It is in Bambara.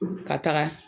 Ka taga